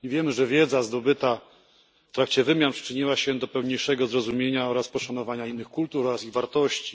Wiemy też, że wiedza zdobyta w trakcie wymian przyczyniła się do pełniejszego zrozumienia i poszanowania innych kultur oraz ich wartości.